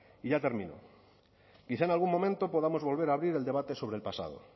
y ya termino quizá en algún momento podamos volver a abrir el debate sobre el pasado